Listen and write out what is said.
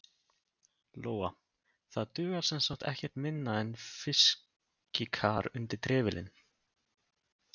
Lóa: Það dugar semsagt ekkert minna en fiskikar undir trefilinn?